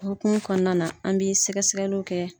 Hukumu kɔnɔna na an bi sɛgɛ sɛgɛliw kɛ.